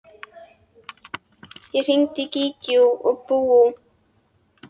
Ég hringdi í Gígju og Búa.